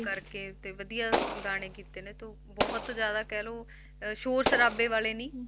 ਕਰਕੇ ਤੇ ਵਧੀਆ ਗਾਣੇ ਕੀਤੇ ਨੇ ਤੇ ਬਹੁਤ ਜ਼ਿਆਦਾ ਕਹਿ ਲਓ ਅਹ ਸ਼ੌਰ ਸ਼ਰਾਬੇ ਵਾਲੇ ਨੀ,